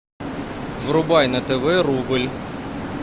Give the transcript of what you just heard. врубай на тв рубль